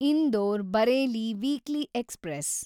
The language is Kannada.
Indore Bareilly weekly express